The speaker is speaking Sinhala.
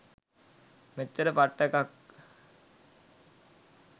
මෙච්චර පට්ට එකක්